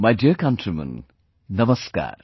My dear countrymen, Namaskar